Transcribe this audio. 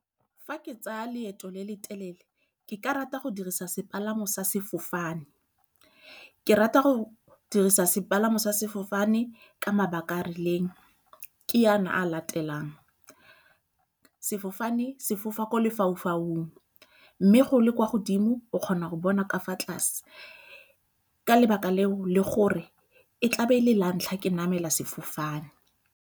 Fa ke tsaya leeto le le telele ke ka rata go dirisa sepalamo sa sefofane. Ke rata go dirisa sepalamo sa sefofane ka mabaka a a rileng. Ke yana a a latelang, sefofane se fofa ko lefau-faung mme ge o le kwa godimo o kgona go bona ka fa tlase ka lebaka leo le gore e tla be e le la ntlha ke namela sefofane.